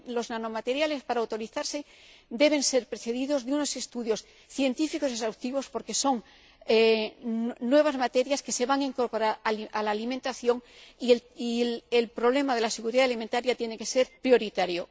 Los nanomateriales, para autorizarse, deben ser precedidos de unos estudios científicos exhaustivos, porque son nuevas materias que se van a incorporar a la alimentación y la cuestión de la seguridad alimentaria tiene que ser prioritaria.